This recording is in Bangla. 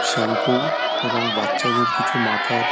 শ্যাম্পু এবং বাচ্চাদের কিছু মাথার--